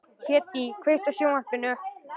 Hedí, kveiktu á sjónvarpinu.